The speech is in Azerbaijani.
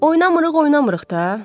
Oynamırıq, oynamırıq da.